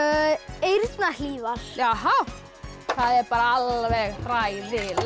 eyrnahlífar það er bara alveg hræðilegt